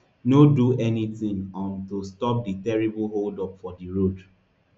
no do anytin um to stop di terrible hold up for di road